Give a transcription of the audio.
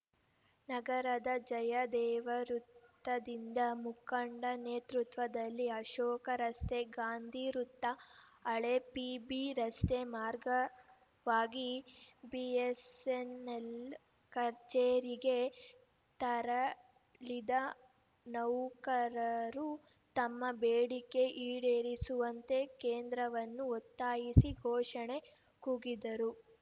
ನಗರದ ಜಯದೇವ ವೃತ್ತದಿಂದ ಮುಖಂಡ ನೇತೃತ್ವದಲ್ಲಿ ಅಶೋಕ ರಸ್ತೆ ಗಾಂಧಿ ವೃತ್ತ ಹಳೆ ಪಿಬಿರಸ್ತೆ ಮಾರ್ಗವಾಗಿ ಬಿಎಸ್ಸೆನ್ನೆಲ್‌ ಕಚೇರಿಗೆ ತರಳಿದ ನೌಕರರು ತಮ್ಮ ಬೇಡಿಕೆ ಈಡೇರಿಸುವಂತೆ ಕೇಂದ್ರವನ್ನು ಒತ್ತಾಯಿಸಿ ಘೋಷಣೆ ಕೂಗಿದರು